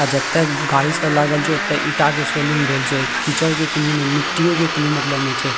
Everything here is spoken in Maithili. आ जता गाड़ी सब लागल छे ओते ईटा के